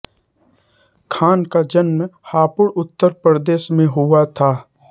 खान का जन्म हापुड़ उत्तर प्रदेश में हुआ था